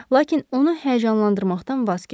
Lakin onu həyəcanlandırmaqdan vaz keçdi.